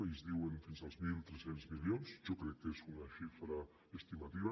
ells diuen fins als mil tres cents milions jo crec que és una xifra estimativa